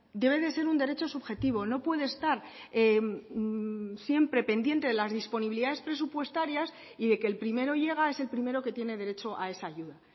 debe de ser un derecho subjetivo no puede estar siempre pendiente de las disponibilidades presupuestarias y de que el primero llega es el primero que tiene derecho a esa ayuda